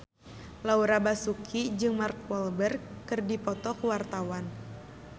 Laura Basuki jeung Mark Walberg keur dipoto ku wartawan